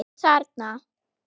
Og þarna?